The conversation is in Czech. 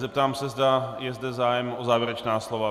Zeptám se, zda je zde zájem o závěrečná slova.